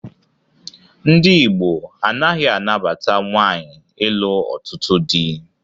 Ndị Igbo anaghị anabata nwaanyị ịlụ ọtụtụ dị